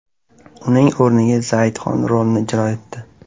Uning o‘rniga Zayed Xon rolni ijro etdi.